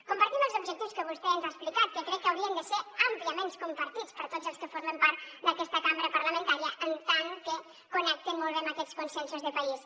compartim els objectius que vostè ens ha explicat que crec que haurien de ser àmpliament compartits per tots els que formen part d’aquesta cambra parlamentària en tant que connecten molt bé amb aquests consensos de país